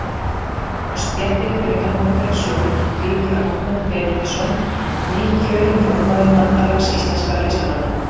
Á stéttinni fyrir utan Hótel Sögu bíður Arnór Benónýsson, nýkjörinn formaður Bandalags íslenskra listamanna.